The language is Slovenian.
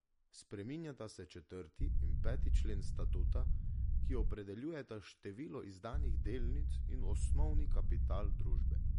Spreminjata se četrti in peti člen statuta, ki opredeljujeta število izdanih delnic in osnovni kapital družbe.